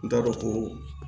N t'a dɔn ko